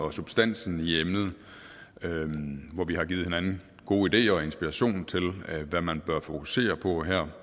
og substansen i emnet hvor vi har givet hinanden gode ideer og inspiration til hvad man bør fokusere på her